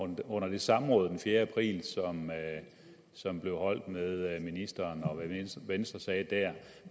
med under det samråd den fjerde april som blev afholdt med ministeren